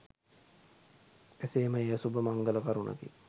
එසේම එය සුබ මංගල කරුණකි.